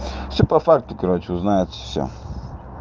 всё по факту короче узнается всё